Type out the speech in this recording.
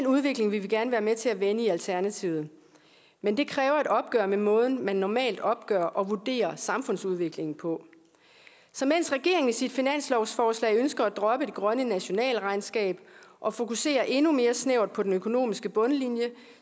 udvikling vil vi gerne være med til at vende i alternativet men det kræver et opgør med måden man normalt opgør og vurderer samfundsudviklingen på så mens regeringen i sit finanslovsforslag ønsker at droppe det grønne nationalregnskab og fokuserer endnu mere snævert på den økonomiske bundlinje